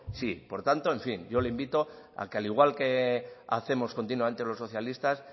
sí por tanto en fin yo le invito a que al igual que hacemos continuamente los socialistas